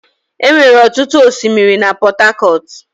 Enwere ọtụtụ osimiri na Port Harcourt.